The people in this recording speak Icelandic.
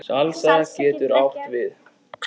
Salsa getur átt við